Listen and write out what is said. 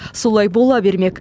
солай бола бермек